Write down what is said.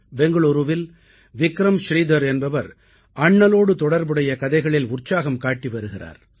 பெங்களூரூவில் விக்ரம் ஸ்ரீதர் என்பவர் அண்ணலோடு தொடர்புடைய கதைகளில் உற்சாகம் காட்டி வருகிறார்